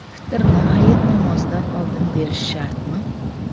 Fitrni hayit namozidan oldin berish shartmi?.